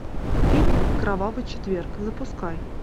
фильм кровавый четверг запускай